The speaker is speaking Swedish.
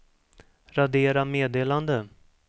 radera meddelande